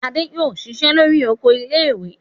Adé yóò dá ṣiṣẹ́ lórí oko ilé-ìwé!